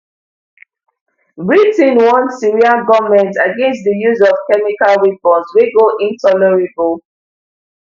britain warn syrian goment against di use of chemical weapons wey go intolerable